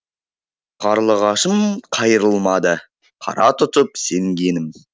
қарлығашым қайрылмады қара тұтып сенгенім